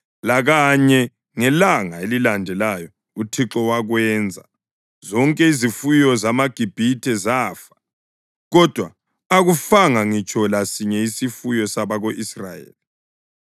Lakanye ngelanga elilandelayo uThixo wakwenza, zonke izifuyo zamaGibhithe zafa, kodwa akufanga ngitsho lasinye isifuyo sabako-Israyeli.